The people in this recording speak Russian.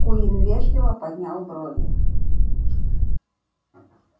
куинн вежливо поднял брови